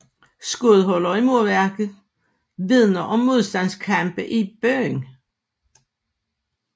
Skudhuller i murværk vidner om modstandskampe i byen